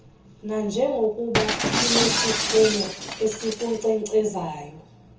nanjengokuba inesiphumo esikunkcenkcezayo